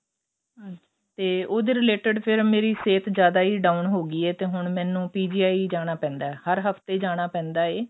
ਤੇ ਉਹਦੇ related ਫ਼ਿਰ ਮੇਰੀ ਸਿਹਤ ਜਿਆਦਾ ਹੀ down ਹੋ ਗਈ ਏ ਤੇ ਹੁਣ ਮੈਨੂੰ PGI ਜਾਣਾ ਪੈਂਦਾ ਹਰ ਹਫਤੇ ਜਾਣਾ ਪੈਂਦਾ ਏ